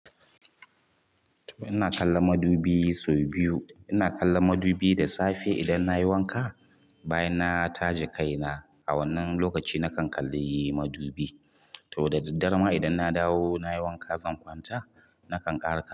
To ina kallon madubi sau biyu. Ina kallon madubi da safe idan nayi wanka, bayan na taje kaina a wannan lokaci na kan kalli madubi. To da daddare ma idan na dawo nayi wanka zan kwanta na kan ƙara kal.